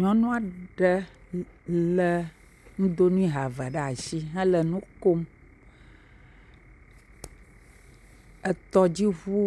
Nyɔnua ɖe le nudoŋue ha eve ɖe asi he le nu kom. Etɔdziŋu